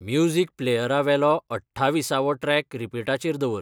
music प्लेयरावेलो अठ्ठाविसावो track रिपीटाचेर दवर